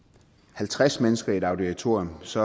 halvtreds mennesker i et auditorium så